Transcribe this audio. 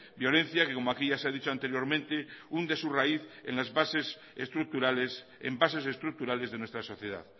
violencia que como aquí ya se ha dicho anteriormente hunde su raíz en las bases estructurales de nuestra sociedad